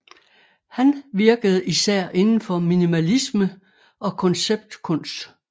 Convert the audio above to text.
Han virkede især indenfor minimalisme og konceptkunst